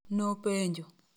Nopenjo.